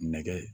Nɛgɛ